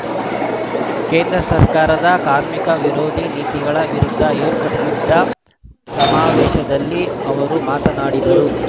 ಕೇಂದ್ರ ಸರ್ಕಾರದ ಕಾರ್ಮಿಕ ವಿರೋಧಿ ನೀತಿಗಳ ವಿರುದ್ಧ ಏರ್ಪಡಿಸಿದ್ದ ಸಮಾವೇಶದಲ್ಲಿ ಅವರು ಮಾತನಾಡಿದರು